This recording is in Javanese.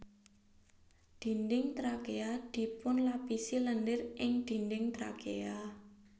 Dinding trakea dipunlapisi lendir ing dinding trakea